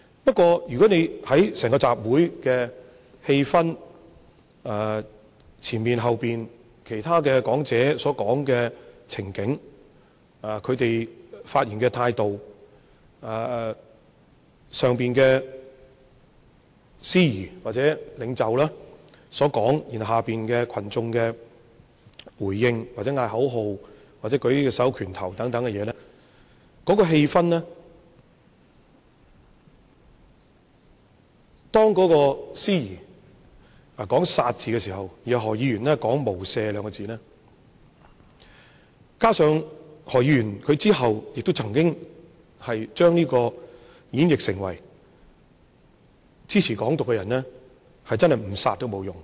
不過，從整個集會的氣氛、之前之後其他講者發言的情境、他們發言的態度、台上的司儀、或者領袖的說話、下面群眾的回應、喊口號和握着拳頭舉起手等的行為，當時的氣氛，當司儀說出"殺"字的時候，然後何議員說出"無赦"兩個字，加上何議員後來曾經將這演繹成，支持"港獨"的人，真正不殺也沒有用。